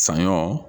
Saɲɔ